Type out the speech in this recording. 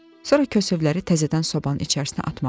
Sonra kəsövləri təzədən sobanın içinə atmağa başladı.